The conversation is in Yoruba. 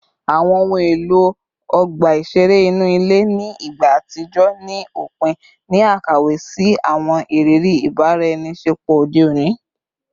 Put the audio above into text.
Awọn ohun elo ọgba iṣere inu ile ni igba atijọ ni opin ni akawe si awọn iriri ibaraenisepo ode oni